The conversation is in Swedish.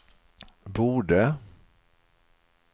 borde